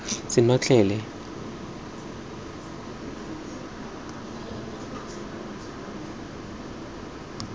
senotlele sa gotlhe fa puo